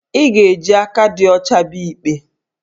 Ị ga-eji aka dị ọcha bịa ikpe